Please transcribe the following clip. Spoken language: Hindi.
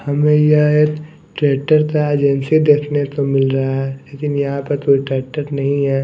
हमें यह एक ट्रैक्टर का एजेंसी देखने को मिल रहा है लेकिन यहां पर कोई ट्रैक्टर नहीं है।